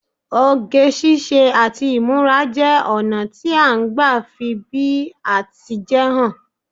Oge ṣíṣe àti ìmúra jẹ́ ọna ti a n gba fi bí a ti jẹ́ hàn